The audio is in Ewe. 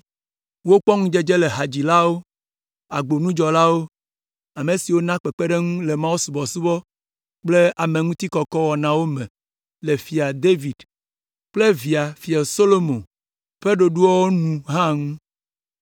Wokpɔ ŋudzedze le hadzilawo, agbonudzɔlawo, ame siwo naa kpekpeɖeŋu le mawusubɔsubɔ kple ameŋutikɔkɔ wɔnawo me le Fia David kple via Fia Solomo ƒe ɖoɖoawo nu hã ŋu.